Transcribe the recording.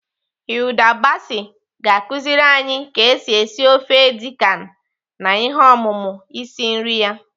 Hilda Baci ga-akụziri anyi ka esi esi ofe edi kan na ihe ọmụmụ isi nri ya.